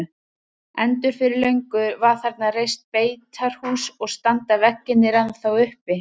Endur fyrir löngu var þarna reist beitarhús og standa veggirnir ennþá uppi.